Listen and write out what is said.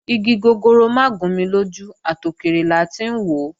Igi gogoro mà gún ni lójú, àtòkèrè la ti ń wòó